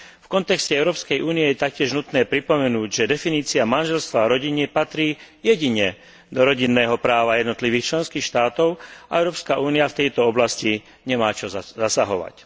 V kontexte Európskej únie je taktiež nutné pripomenúť, že definícia manželstva a rodiny patrí jedine do rodinného práva jednotlivých členských štátov a Európska únia v tejto oblasti nemá čo zasahovať.